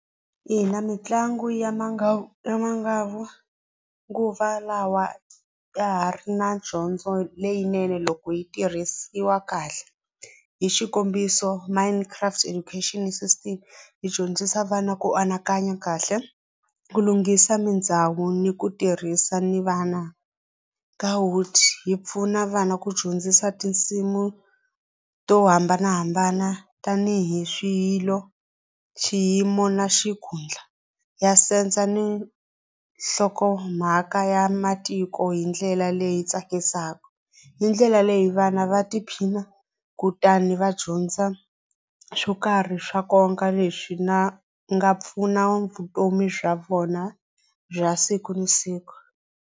Ina mitlango ya ya manguva lawa ya ha ri na dyondzo leyinene loko yi tirhisiwa kahle hi xikombiso minecraft education system yi dyondzisa vana ku anakanya kahle ku lunghisa ni ku tirhisa ni vana yi pfuna vana ku dyondzisa tinsimu to hambanahambana tanihi swilo, xiyimo na ni nhlokomhaka ya matiko hi ndlela leyi tsakisaka hi ndlela leyi vana va tiphina kutani va dyondza swo karhi swa nkoka leswi na nga pfuna vutomi bya vona bya siku ni siku.